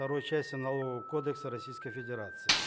второй части налогового кодекса российской федерации